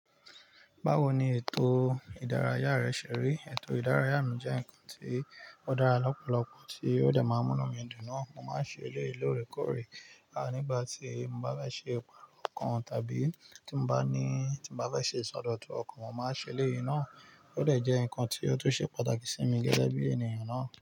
Báwo ni ètò ìdárayá rẹ ṣe rí? Ètò ìdárayá mi jẹ́ ǹnkan tí ó dára lọ́pọ̀lọpọ̀ tí ó dẹ̀ máa ń mú inu mi dùn na. Mo máa ń ṣe eléyìí lóòrèkóòrè. Nígbà tí mo bá fe ṣe ìpàrọ̀ kan tàbí tí mo bá ní tí mo bá fẹ́ ṣe ìsọdọ̀tun ọkàn, mo máa n ṣe eléyìí náà. Ó dẹ̀ jẹ́ ǹnkan tí ó tún ṣe pàtàkì sí mi gẹ́gẹ́ bí ènìyàn náà.